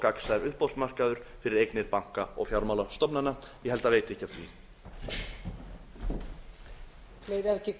gagnsær uppboðsmarkaður fyrir eignir banka og fjármálastofnana ég held að það veiti ekki af því